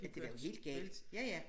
At det var jo helt galt ja ja